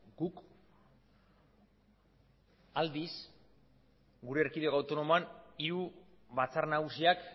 guk aldiz gure erkideko autonomoan hiru batzar nagusiak